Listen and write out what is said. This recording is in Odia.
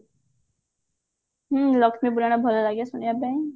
ହଁ ଲକ୍ଷ୍ମୀ ପୁରାଣ ଭଲ ଲାଗେ ଶୁଣିବା ପାଇଁ